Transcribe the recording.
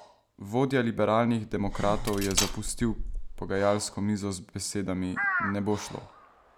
Vodja liberalnih demokratov je zapustil pogajalsko mizo z besedami: "Ne bo šlo.